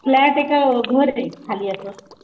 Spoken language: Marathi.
फ्लॅटे का घरे खाली असं,